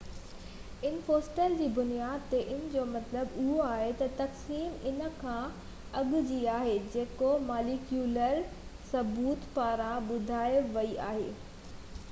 ان fossil جي بنياد تي ان جو مطلب اهو آهي ته تقسيم ان کان اڳ جي آهي جيڪو ماليڪيولر ثبوت پاران ٻڌائي وئي آهي